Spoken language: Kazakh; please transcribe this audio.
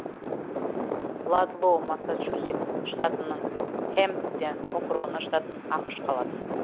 ладлоу массачусетс штатының хэмпден округін жататын ақш қаласы